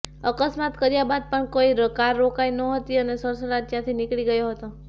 અકસ્મતા કર્યા બાદ પણ કાર રોકાઈ નહોતી અને સડસડાટ ત્યાંથી નીકળી ગયો હતો